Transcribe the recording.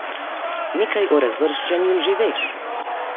Nekaj o razvrščanju že veš.